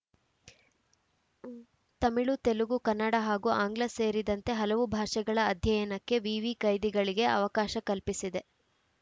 ತಮಿಳು ತೆಲುಗು ಕನ್ನಡ ಹಾಗೂ ಆಂಗ್ಲ ಸೇರಿದಂತೆ ಹಲವು ಭಾಷೆಗಳ ಅಧ್ಯಯನಕ್ಕೆ ವಿವಿ ಕೈದಿಗಳಿಗೆ ಅವಕಾಶ ಕಲ್ಪಿಸಿದೆ